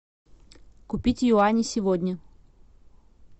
купить юани сегодня